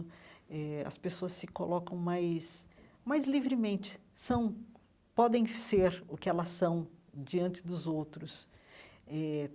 Eh as pessoas se colocam mais mais livremente, são podem ser o que elas são diante dos outros eh.